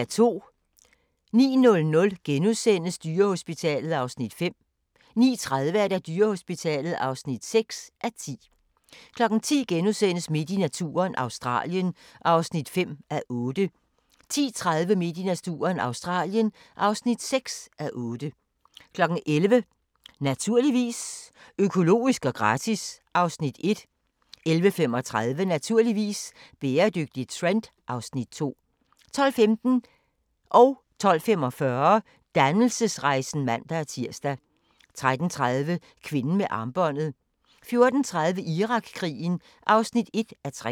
09:00: Dyrehospitalet (5:10)* 09:30: Dyrehospitalet (6:10) 10:00: Midt i naturen – Australien (5:8)* 10:30: Midt i naturen – Australien (6:8) 11:00: Naturligvis - økologisk og gratis (Afs. 1) 11:35: Naturligvis - bæredygtig trend (Afs. 2) 12:15: Dannelsesrejsen (man-tir) 12:45: Dannelsesrejsen (man-tir) 13:30: Kvinden med armbåndet 14:30: Irakkrigen (1:3)